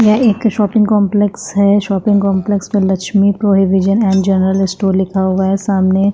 ये एक shopping complex है शॉपिंग कॉम्प्लेक्स में Lakshmi provision and general store लिखा हुआ है सामने--